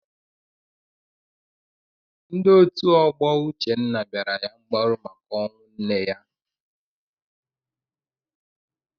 Ndị otu ọgbọ Uchenna bịara ya mgbaru maka ọnwụ nne ya.